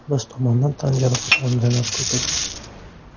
Biz tomondan tan jarohati olganlar ko‘p edi.